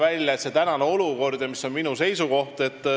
Kolmandaks, praegune olukord ja minu seisukoht.